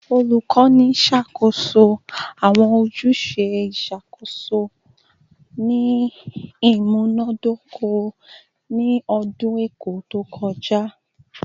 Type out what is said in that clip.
Olukọni ṣakoso awọn ojuse iṣakoso ni imunadoko ni ọdun ẹkọ to kọja